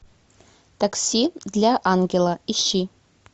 такси для ангела ищи